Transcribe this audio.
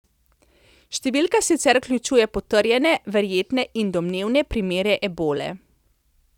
Številka sicer vključuje potrjene, verjetne in domnevne primere ebole.